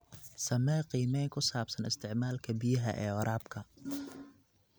Samee qiimeyn ku saabsan isticmaalka biyaha ee waraabka.